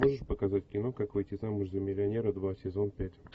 можешь показать кино как выйти замуж за миллионера два сезон пять